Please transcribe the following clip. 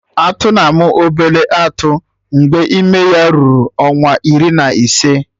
Atụ na-amụ obele atụ mgbe ime ya ruru ọnwa iri na ise